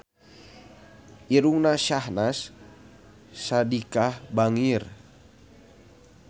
Irungna Syahnaz Sadiqah bangir